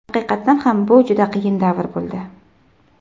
Haqiqatan ham bu juda qiyin davr bo‘ldi.